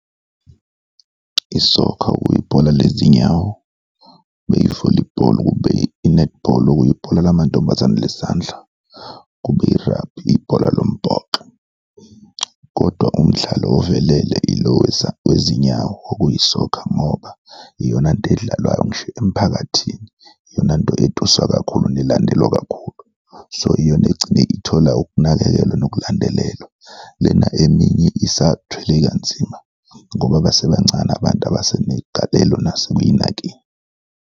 I-soccer, okuyibhola lezinyawo, kube yi-volleyball, kube i-netball okuyibhola lamantombazane lesandla, kube i-rugby, ibhola lombhoxo. Kodwa umdlalo ovelele yilo wezinyawo, okuyi-soccer ngoba iyonanto edlalwayo ngisho emphakathini, iyonanto etuswa kakhulu nelandelwa kakhulu, so iyona egcine ithola ukunakekelwa nokulandelelwa, lena eminye isathwele kanzima ngoba basebancane abantu abasenegalelo nase kuy'nakeni.